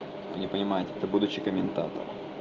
не понимаете это будущий комментатор